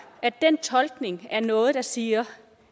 at den tolkning af noget der siger